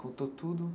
Contou tudo?